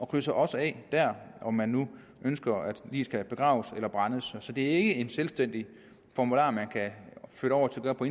krydser også af dér om man nu ønsker at liget skal begraves eller brændes så det er ikke en selvstændig formular man kan flytte over på